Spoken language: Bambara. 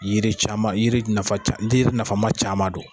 Yiri caman yiri nafa ca yiri nafama caman don